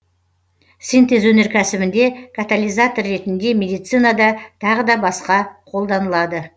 синтез өнеркәсібінде катализатор ретінде медицинада тағы да басқа қолданылады